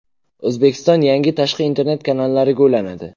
O‘zbekiston yangi tashqi internet kanallariga ulanadi.